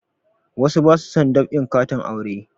Wasu ba su dab'in katin aure